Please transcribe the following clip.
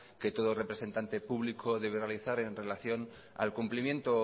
que todo representante público debe realizar en relación al cumplimiento